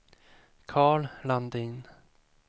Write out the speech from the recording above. Karl Landin